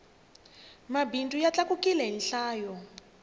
mabindzu ya tlakukile hi nhlayo